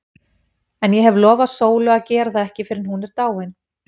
En ég hef lofað Sólu að gera það ekki fyrr en hún er dáin.